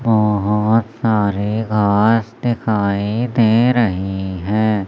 सारे घास दिखाई दे रहे हैं।